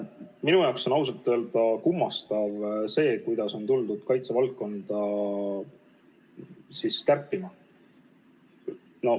Minu jaoks on ausalt öeldes kummastav see, kuidas on hakatud kaitsevaldkonnas kärpima.